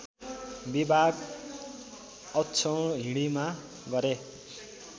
विभाग अक्षौहिणीमा गरे